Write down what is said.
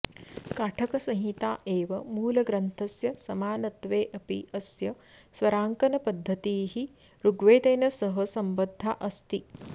काठकसंहिता एव मूलग्रन्थस्य समानत्वेऽपि अस्य स्वराङ्कनपद्धतिः ऋग्वेदेन सह सम्बद्धा अस्ति